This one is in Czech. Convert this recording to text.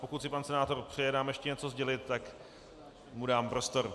Pokud si pan senátor přeje nám ještě něco sdělit, tak mu dám prostor.